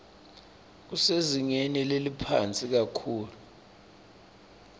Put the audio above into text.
kusezingeni leliphansi kakhulu